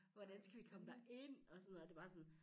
Hvordan skal vi komme derind og sådan noget og det bare sådan